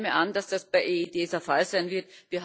Ich nehme an, dass das bei der EED der Fall sein wird.